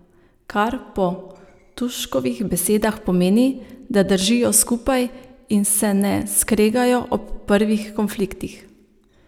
Kar po Tuškovih besedah pomeni, da držijo skupaj in se ne skregajo ob prvih konfliktih.